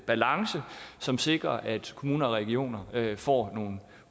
balance som sikrer at kommuner og regioner får